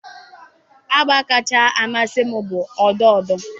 Agba kacha amasị m bụ odo odo.